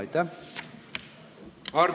Aitäh!